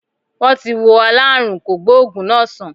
Wọ́n ti wo aláàrùn kògbóògù náá sán